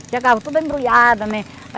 Chegava tudo embrulhado, né.